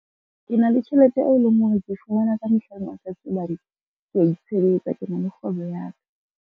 Ke na le tjhelete eo e leng hore ke fumana ka mehla le matsatsi hobane, ke a itshebetsa ke na le kgwebo ya ka.